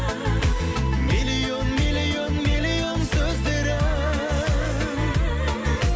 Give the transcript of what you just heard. миллион миллион миллион сөздері